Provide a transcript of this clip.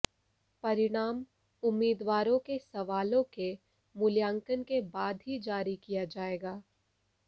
परिणाम उम्मीदवारों के सवालों के मूल्यांकन के बाद ही जारी किया जाएगा